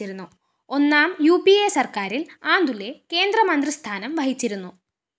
ഒന്നാം U P A സര്‍ക്കാരില്‍ ആന്തുലെ കേന്ദ്രമന്ത്രിസ്ഥാനം വഹിച്ചിരുന്നു